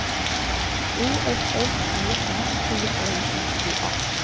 O F F E N T L I G A